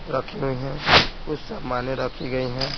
रखी हुई हैं कुछ सामान्य रखी गए हैं।